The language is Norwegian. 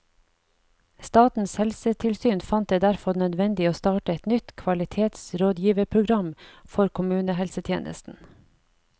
Statens helsetilsyn fant det derfor nødvendig å starte et nytt kvalitetsrådgiverprogram for kommunehelsetjenesten.